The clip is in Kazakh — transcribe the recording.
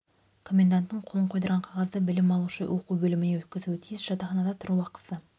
коменданттың қолын қойдырған қағазды білім алушы оқу бөліміне өткізуі тиіс жатақханада тұру ақысы